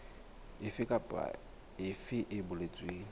efe kapa efe e boletsweng